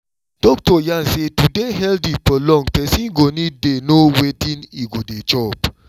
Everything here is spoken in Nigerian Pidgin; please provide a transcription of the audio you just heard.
doctor yarn say to dey healthy for long person go need dey know wetin e go dey chop